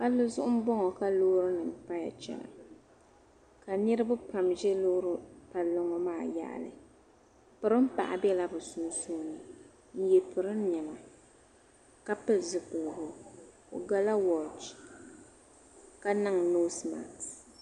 palli zuɣu m bɔŋɔ ka loori nima paya chana ka niriba pam ʒe loori palli ŋɔ maa yaɣili pirim' paɣa bela bɛ sunsuuni n-ye pirin' nema ka pili zupiligu o gala wɔch ka niŋ noosi masks.